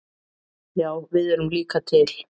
Já við erum líka til!